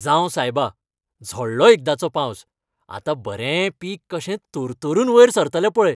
जांव सायबा, झडलो एकदांचो पावस. आतां बरें पीक कशें तरतरून वयर सरतलें पळय.